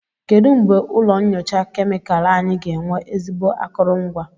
Kedu mgbe ụlọ nyocha kemịkalụ anyị ga-enwe ezigbo akụrụngwa?